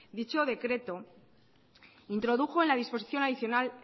dicho decreto introdujo en la disposición adicional